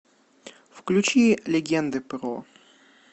включи легенды про